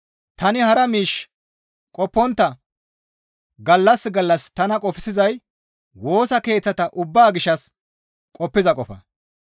Tani hara miish qoppontta, gallas gallas tana qofsizay Woosa Keeththata ubbaa gishshas qoppiza qofa.